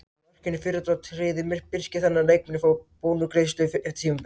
Með markinu í fyrradag tryggði Birkir þannig að leikmennirnir fá bónusgreiðslu eftir tímabilið.